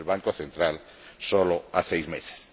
el Banco Central, solo a seis meses.